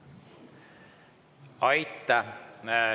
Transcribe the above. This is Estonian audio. Aitäh!